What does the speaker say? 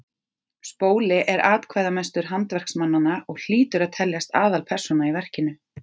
spóli er atkvæðamestur handverksmannanna og hlýtur að teljast aðalpersóna í verkinu